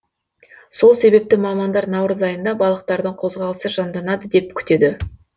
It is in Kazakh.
сол себепті мамандар наурыз айында балықтардың қозғалысы жанданады деп күтеді